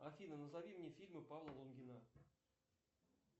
афина назови мне фильмы павла лунгина